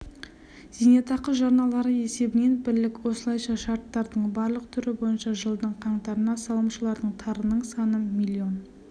зейнетақы жарналары есебінен бірлік осылайша шарттардың барлық түрі бойынша жылдың қаңтарына салымшылардың тарының саны млн